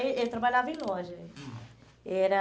Eh ele trabalhava em loja. Hum. Era